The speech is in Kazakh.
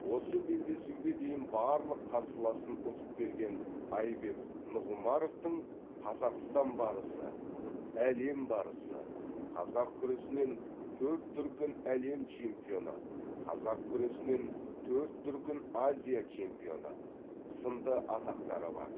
осы белдесуге дейін барлық қарсыласын ұтып келген айбек нұғымаровтың қазақстан барысы әлем барысы қазақ күресінен төрт дүркін әлем чемпионы қазақ күресінен төрт дүркін азия чемпионы сынды атақтары бар